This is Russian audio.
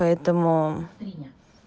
поэтому